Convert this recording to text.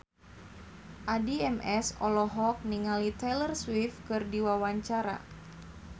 Addie MS olohok ningali Taylor Swift keur diwawancara